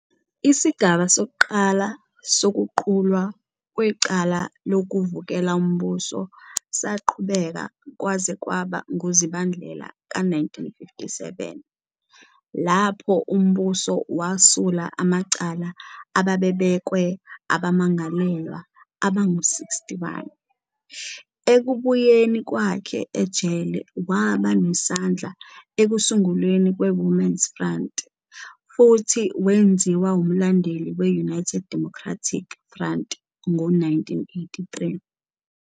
Isigaba sokuqala sokuqulwa kwecala lokuvukela umbuso saqhubeka kwaze kwaba nguZibandlela ka-1957, lapho umbuso wasula amacala ababebekwe abamangalelwa abangu-61. Ekubuyeni kwakhe ejele, waba nesandla ekusungulweni kwe-Women's Front, futhi wenziwa umlandeli we-United Democratic Front ngo-1983.